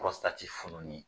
Pɔrɔstati fɔlɔ ye min ye